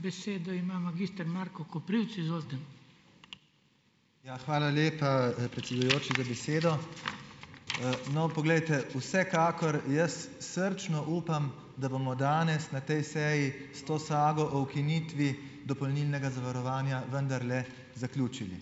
Ja, hvala lepa, predsedujoči, za besedo. No, poglejte, vsekakor jaz srčno upam, da bomo danes na tej seji s to sago o ukinitvi dopolnilnega zavarovanja vendarle zaključili,